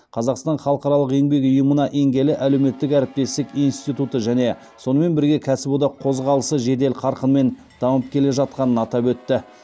қазақстан халықаралық еңбек ұйымына енгелі әлеуметтік әріптестік институты және сонымен бірге кәсіподақ қозғалысы жедел қарқынмен дамып келе жатқанын атап өтті